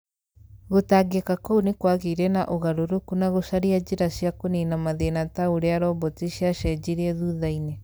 Gũtangĩka kũu nĩ kwagĩire na ũgarũrũku na gũcaria njĩra cia kũniina mathĩna ta ũrĩa roboti ciacenjirie thuthainĩ